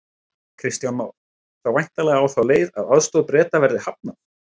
Kristján Már: Þá væntanlega á þá leið að aðstoð Breta verði hafnað?